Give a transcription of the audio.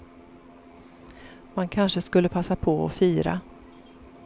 Man kanske skulle passa på och fira.